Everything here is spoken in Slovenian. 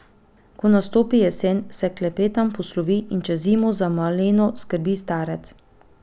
Ko nastopi jesen, se Klepetan poslovi in čez zimo za Maleno skrbi starec.